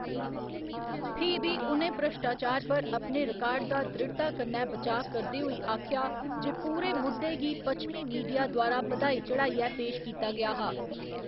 फ्ही बी, उ'नें भ्रश्टाचार पर अपने रिकार्ड दा दृढ़ता कन्नै बचाऽ करदे होई आखेआ जे पूरे मुद्दे गी पच्छमी मीडिया द्वारा बधाई चढ़ाइयै पेश कीता गेआ हा।